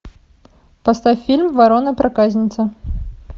поставь фильм ворона проказница